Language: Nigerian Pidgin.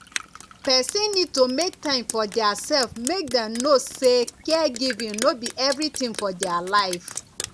person need to make time for their self make dem know sey caregiving no be everything for their life